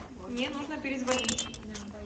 мне нужно перезвонить